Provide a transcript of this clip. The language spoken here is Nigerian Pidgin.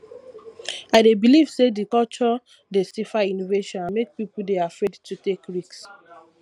i dey believe say di culture dey stifle innovation and make people dey afraid to take risk